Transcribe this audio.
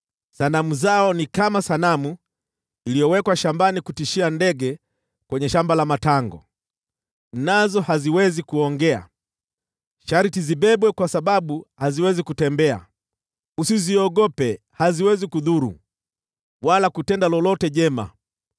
Sanamu zao ni kama sanamu iliyowekwa shambani la matango kutishia ndege nazo haziwezi kuongea; sharti zibebwe sababu haziwezi kutembea. Usiziogope; haziwezi kudhuru, wala kutenda lolote jema.”